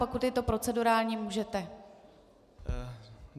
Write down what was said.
Pokud je to procedurální, můžete.